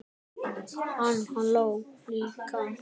Hann hló líka.